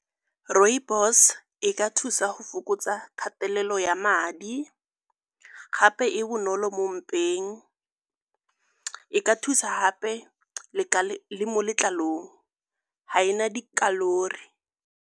Rooibos e ka thusa go fokotsa kgatelelo ya madi gape e bonolo mo mpeng. E ka thusa gape le mo letlalong, ga e na dikhalori.